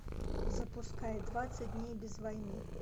запускай двадцать дней без войны